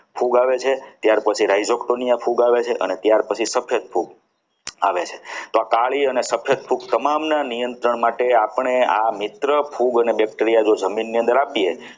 ફૂગ આવે છે ત્યાર પછી rhizoton ફોન ફૂગ આવે છે પછી સફેદ ફૂગ આવે છે તો આ કાળી અને સફેદ ફૂગ તમામના નિયંત્રણ માટે આપણે આ મિત્ર ફૂગ એ જમીનની અંદર આપીએ.